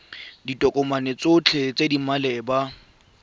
ditokomane tsotlhe tse di maleba